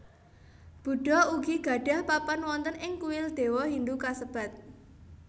Buddha ugi gadhah papan wonten ing kuil dewa Hindu kassebat